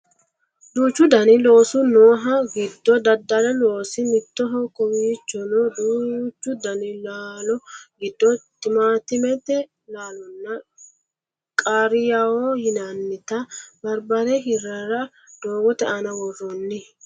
duuchu dani loosi noohu giddo daddali loosi mittoho kowiichono duuchu dani laalo giddo timaattimete laalonna qaariyaaho yinannita barbare hiirrara doogote aana worroonni